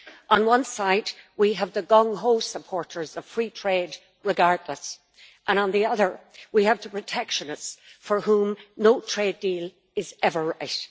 On one side we have the gung ho supporters of free trade, regardless, and on the other we have the protectionists, for whom no trade deal is ever right.